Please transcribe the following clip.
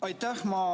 Aitäh!